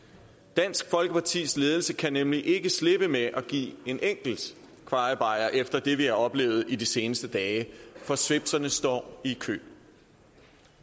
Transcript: dansk folkepartis ledelse kan nemlig ikke slippe med at give en enkelt kvajebajer efter det vi har oplevet i de seneste dage for svipserne står i kø